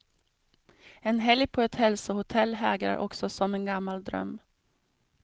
En helg på ett hälsohotell hägrar också som en gammal dröm.